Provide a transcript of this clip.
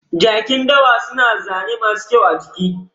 Jakin dawa suna da zane masu kyau a jiki.